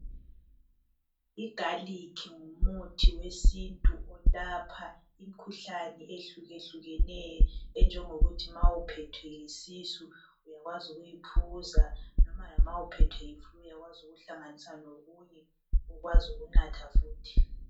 Igalikhi ngumuthi wesintu olapha imikhuhlane ehlukehlukeneyo enjongokuthi ma uphethwe yisisu uyakwazi ukuyi phuza loba uphethwe yiflu uyakwazi ukuyihlanganisa lokunye ukwazi ukunatha futhi